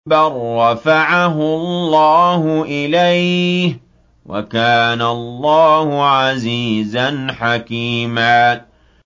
بَل رَّفَعَهُ اللَّهُ إِلَيْهِ ۚ وَكَانَ اللَّهُ عَزِيزًا حَكِيمًا